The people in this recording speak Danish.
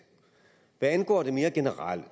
hvad angår det mere generelle